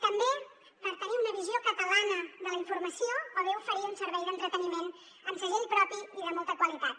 també per tenir una visió catalana de la informació o bé oferir un servei d’entreteniment amb segell propi i de molta qualitat